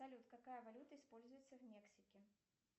салют какая валюта используется в мексике